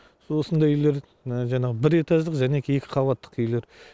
осындай үйлер міні жаңағы бір этаждық және екі қабаттық үйлер